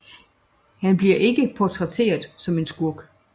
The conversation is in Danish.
Han bliver ikke portrætteret som en skurk